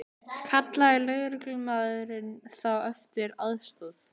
Kallaði lögreglumaðurinn þá eftir aðstoð